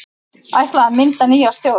Ætlað að mynda nýja stjórn